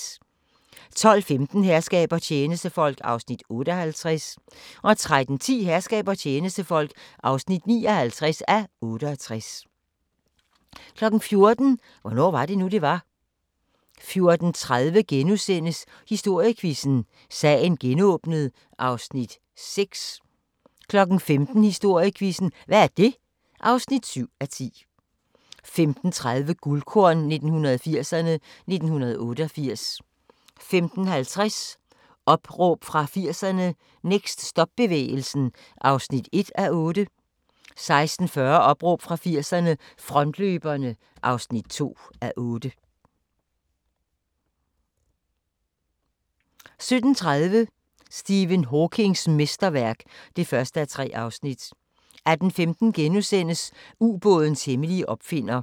12:15: Herskab og tjenestefolk (58:68) 13:10: Herskab og tjenestefolk (59:68) 14:00: Hvornår var det nu, det var? 14:30: Historiequizzen: Sagen genåbnet (6:10)* 15:00: Historiequizzen: Hvad er det? (7:10) 15:30: Guldkorn 1980'erne: 1988 15:50: Opråb fra 80'erne – Next stop-bevægelsen (1:8) 16:40: Opråb fra 80'erne – Frontløberne (2:8) 17:30: Stephen Hawkings mesterværk (1:3) 18:15: Ubådens hemmelige opfinder *